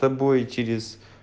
тобой через